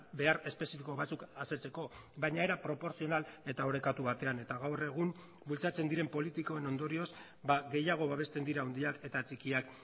behar espezifiko batzuk asetzeko baina era proportzional eta orekatu batean eta gaur egun bultzatzen diren politikoen ondorioz gehiago babesten dira handiak eta txikiak